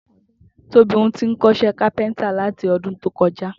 Tóbi ti ń kó̩s̩é̩ kápé̩ńtà láti o̩dún tó ko̩já